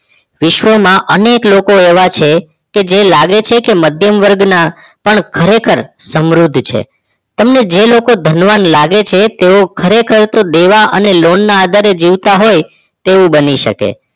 વિશ્વમાં અનેક લોકો એવા છે જે લાગે છે કે મધ્યમ વર્ગ ના પણ ખરેખર સમૃદ્ધ છે તેમને જે લોકો ધનવાન લાગે છે તેઓ ખરેખર લોકો દેવા અને લોન આધારે જીવતા હોય તેવું બની શકે